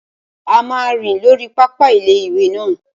A máa rìn lórí pápá ilé-ìwé náà